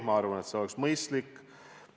Ma arvan, et see oleks mõistlik.